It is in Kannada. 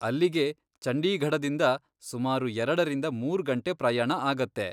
ಅಲ್ಲಿಗೆ ಚಂಡೀಗಢದಿಂದ ಸುಮಾರು ಎರಡರಿಂದ ಮೂರ್ ಗಂಟೆ ಪ್ರಯಾಣ ಆಗತ್ತೆ.